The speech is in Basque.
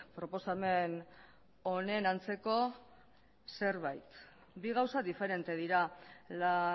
proposamen honen antzeko zerbait bi gauza diferente dira la